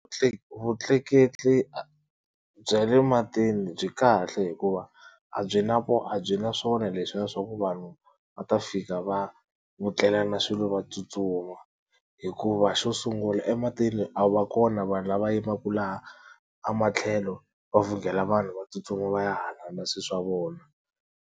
vutleketli bya le matini byi kahle hikuva a byi na a byi na swona leswiya swaku vanhu va ta fika va vutlelana swilo va tsutsuma, hikuva xo sungula ematini a va kona vanhu lava yimaku laha a matlhelo va vhungela vanhu va tsutsuma va ya hala na swilo swa vona.